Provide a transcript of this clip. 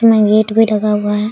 उसमे गेट भी लगा हुआ है।